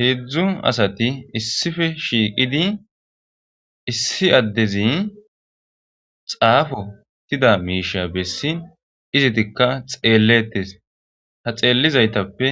heedzdzu asati issife shiiqidi issi addezi xaafotida miisha bessi izitikka xeelletes ha xeellizaytappe